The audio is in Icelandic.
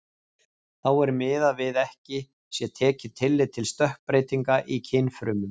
Þá er miðað við ekki sé tekið tillit til stökkbreytinga í kynfrumum.